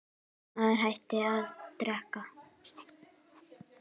Þessi maður hætti að drekka.